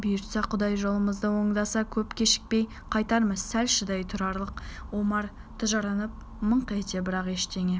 бұйыртса құдай жолымызды оңдаса көп кешікпей қайтармыз сәл шыдай тұралық омар тыжырынып мыңқ етті бірақ ештеңе